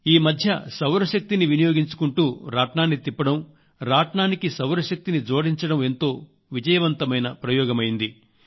ఈ మధ్య సౌర శక్తిని వినియోగించుకుంటూ రాట్నాన్ని తిప్పడం రాట్నానికి సౌరశక్తిని జోడించడం ఎంతో విజయవంతమైన ప్రయోగం అయింది